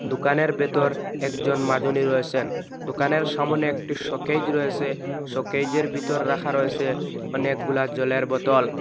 দোকানের ভেতর একজন মাজনি রয়েসেন দোকানের সামোনে একটি শোকেজ রয়েসে শোকেজের ভিতর রাখা রয়েসে অনেকগুলা জলের বোতল ।